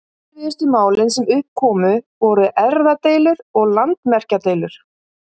Erfiðustu málin sem upp komu voru erfðadeilur og landamerkjadeilur.